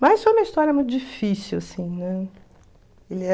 Mas foi uma história muito difícil, assim, né?